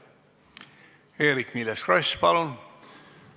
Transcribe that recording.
Eerik-Niiles Kross, palun!